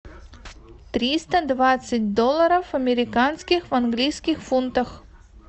триста двадцать долларов американских в английских фунтах